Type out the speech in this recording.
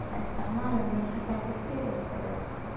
Ha isticmaalin cunto ka tagtay wakhti dheer.